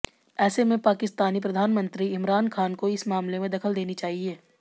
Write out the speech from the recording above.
ऐसे में पाकिस्तानी प्रधानमंत्री इमरान खान को इस मामले में दखल देनी चाहिए